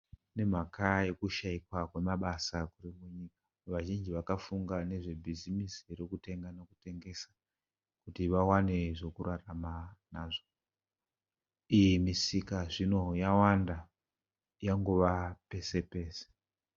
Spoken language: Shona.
Nemhaka yekushaikwa kwemabasa. Vazhinji vakafunga nezvebhizimisi rekutenga nekutengesa kuti vawane zvekurarama nazvo. Iyi misika zvino yawanda yangova pese pese.